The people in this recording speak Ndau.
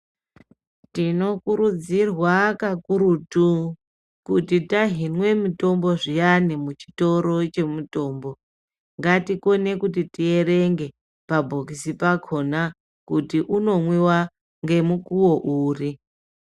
Tinokurudzirwa kakurutu kuti tahinwa mutombo zviyani muchitoro chemutombo, ngatikone kuti tierenge pabhokisi pakhona, kuti unomwiwa ngemukuwo uri.